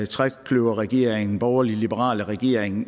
trekløverregeringen den borgerlig liberale regering